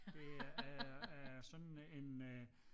Det er øh sådan en øh